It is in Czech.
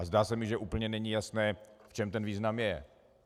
A zdá se mi, že úplně není jasné, v čem ten význam je.